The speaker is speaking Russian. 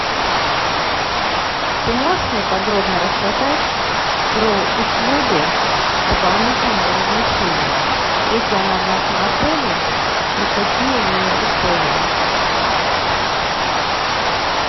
ты можешь мне подробно рассказать про услугу дополнительного размещения есть ли она в нашем отеле и какие у нее условия